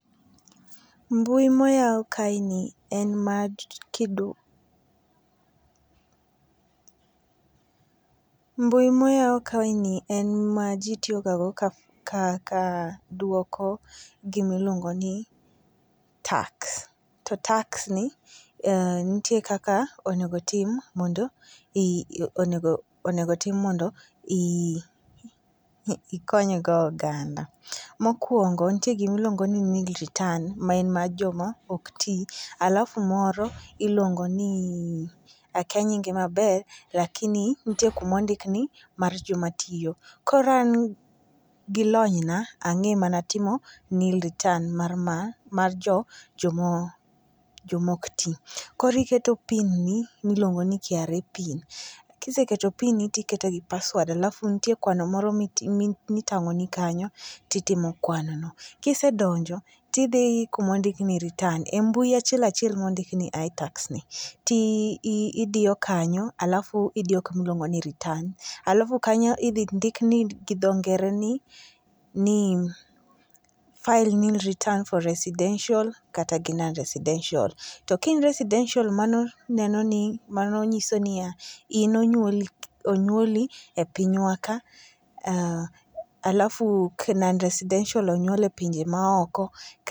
Mbui moyaw kae ni, en ma. Mbui moyaw kae ni en ma ji tiyo ga go ka duoko gima iluongo ni tax. To tax ni nitie kaka onego tim mondo, onego tim mondo ikony go oganda. Mokuongo, nitie gima iluongo ni nil return ma en mar joma oktii. Alafu moro iluongo ni, akya nyinge maber, lakini nitie kuma ondik ni mar joma tiyo. Koro an gi lony na, ang'e mana timo nil return mar joma oktii. Koro iketo PIN ni miluongo ni KRA PIN. Kiseketo PIN ni tiketo gi password. Alafu ntie kwano moro mitang'o ni kanyo titimo kwano no. Kisedonjo tidhi kuma ondik ni return. E mbui achiel achiel mondik ni itax ni, tidiyo kanyo alafu idiyo kuma iluongo ni return. Alafu kanyo idhi ndik ni gi dho ngere ni File Nil Return for residential kata gi non residential. To ka in residential, mano neno ni, mano nyiso ni ya, in onyuoli, onyuoli e pinywa ka, alafu non residential onyuol e pinje ma oko.